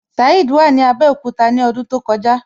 Saheed wà ní Abẹ́òkúta ní ọdún tó kọjá.